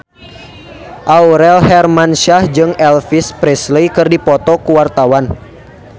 Aurel Hermansyah jeung Elvis Presley keur dipoto ku wartawan